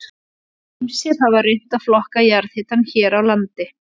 Ýmsir hafa reynt að flokka jarðhitann hér á landi.